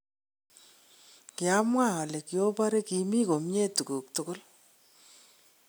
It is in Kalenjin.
Kiamwaa ole kioboree kimikomie tuguuk tugul.